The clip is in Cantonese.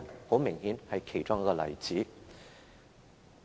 很明顯，這是其中一個例子。